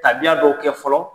Tabiya dɔw kɛ fɔlɔ